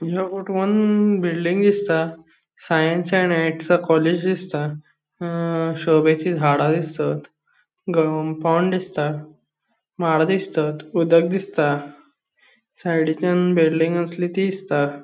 या फोटवान बिल्डिंग दिसता साइंस आणि आर्ट्स कॉलेज दिसता अ शोभेची झाड़ा दिसतात कंपाउंड दिसता माड दिसतात उदक दिसता सायडीचान बिल्डिंग आसली ती दिसता.